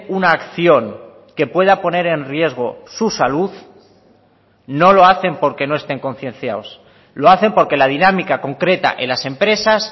una acción que pueda poner en riesgo su salud no lo hacen porque no estén concienciados lo hacen porque la dinámica concreta en las empresas